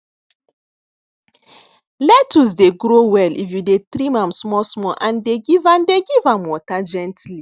lettuce dey grow well if you dey trim am small small and dey give and dey give am water gently